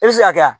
I bɛ se ka kɛ